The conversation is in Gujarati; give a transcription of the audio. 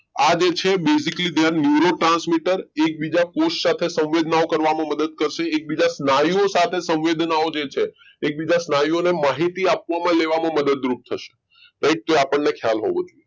આજે છે basically બેન neuro transmitters એકબીજા કોષ સાથે સંવેદના મદદ કરશે એકબીજાના સ્નાયુઓ સાથે સંવેદનાઓ છે એકબીજાના સ્નાયુઓને માહિતી આપવામાં લેવામાં મદદરૂપ થશે એ આપણને ખ્યાલ હોવો જોઈએ